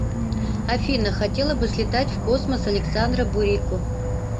афина хотела бы слетать в космос александра бурико